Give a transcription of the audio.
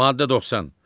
Maddə 90.